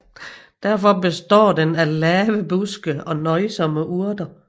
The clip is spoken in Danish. Derfor består den af lave buske og nøjsomme urter